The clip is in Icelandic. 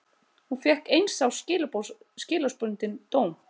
Hún fékk eins árs skilorðsbundinn dóm